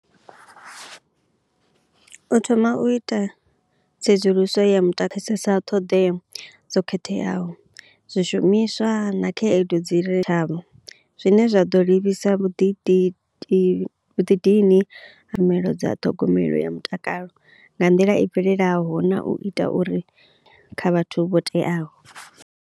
U thoma u ita tsedzuluso ya muta ṱhoḓea dzo khetheaho, zwishumiswa na khaedu dzi zwine zwa ḓo livhisa vhuḓi di di vhuḓidini tshumelo dza ṱhogomelo ya mutakalo nga nḓila i bvelelaho na u ita uri kha vhathu vho teaho.